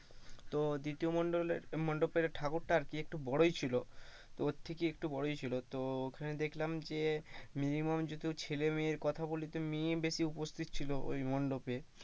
তো দ্বিতীয় মণ্ডলের দ্বিতীয় মণ্ডপের ঠাকুরতা একটু আর কি বড়োই ছিল মানে ওর থেকে একটু বড়োই ছিল, তো ঐখানে দেখলাম যে minimum যদি ছেলেমেয়ের কথা বলি তো মেয়েই বেশি উপস্থিত ছিল ওই মণ্ডপে,